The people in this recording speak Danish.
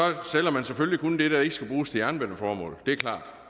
sælger man selvfølgelig kun det der ikke skal bruges til jernbaneformål det er klart